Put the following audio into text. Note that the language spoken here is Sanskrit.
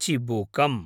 चिबुकम्